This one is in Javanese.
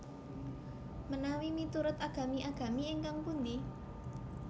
Menawi miturut agami agami ingkang pundi